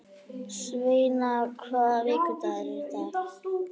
Sveina, hvaða vikudagur er í dag?